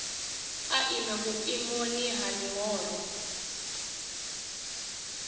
a ime vhuimoni ha ḽihoro